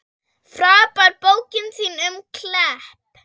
Frábær bókin þín um Klepp.